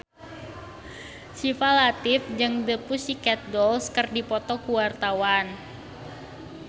Syifa Latief jeung The Pussycat Dolls keur dipoto ku wartawan